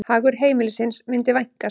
Hagur heimilisins myndi vænkast.